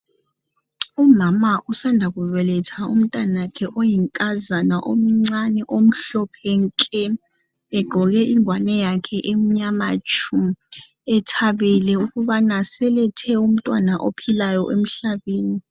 Umama usanda kubeletha umntanakhe oyinkazana omncane omhlophe nke egqoke ingwane yakhe emnyama tshu ethabele ukubana selethe umntwana ophilayo emhlabeni.